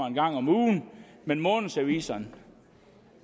en gang om ugen men månedsaviserne